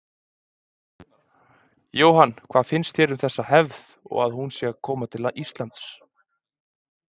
Jóhann: Hvað finnst þér um þessa hefð og að hún sé að koma til Íslands?